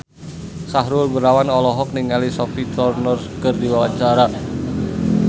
Sahrul Gunawan olohok ningali Sophie Turner keur diwawancara